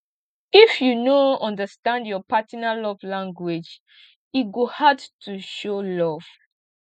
if you no understand your partner love language e go hard to show love